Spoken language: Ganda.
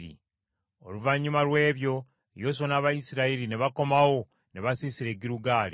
Oluvannyuma lw’ebyo Yoswa n’Abayisirayiri ne bakomawo ne basiisira e Girugaali.